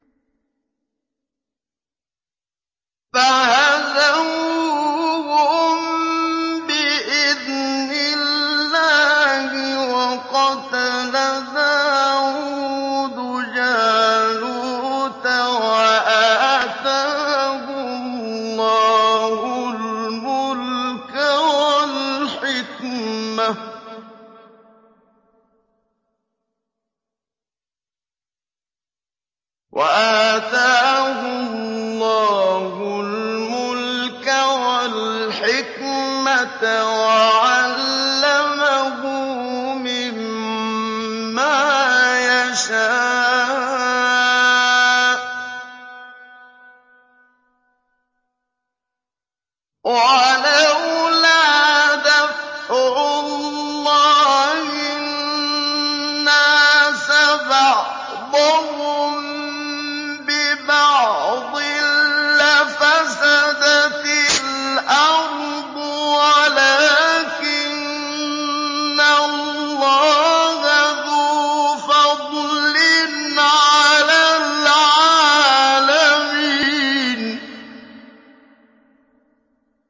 فَهَزَمُوهُم بِإِذْنِ اللَّهِ وَقَتَلَ دَاوُودُ جَالُوتَ وَآتَاهُ اللَّهُ الْمُلْكَ وَالْحِكْمَةَ وَعَلَّمَهُ مِمَّا يَشَاءُ ۗ وَلَوْلَا دَفْعُ اللَّهِ النَّاسَ بَعْضَهُم بِبَعْضٍ لَّفَسَدَتِ الْأَرْضُ وَلَٰكِنَّ اللَّهَ ذُو فَضْلٍ عَلَى الْعَالَمِينَ